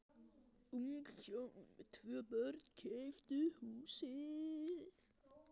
Ung hjón með tvö börn keyptu húsið.